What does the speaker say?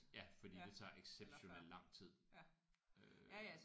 Ja fordi det tager exceptionelt lang tid øh